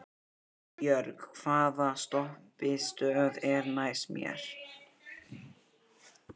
Arnbjörg, hvaða stoppistöð er næst mér?